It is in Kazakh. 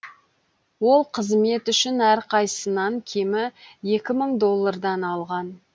ол қызмет үшін әрқайсынан кемі екі мың доллардан алған